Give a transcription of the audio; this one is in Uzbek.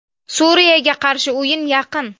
Suriyaga qarshi o‘yin yaqin.